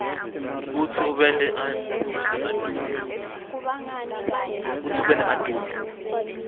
kutsi ube neadobe